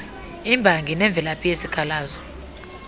imbangi nemvelaphi yesikhalazo